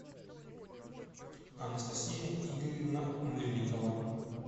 анастасия игоревна мыльникова